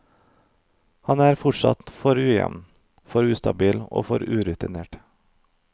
Han er fortsatt for ujevn, for ustabil og for urutinert.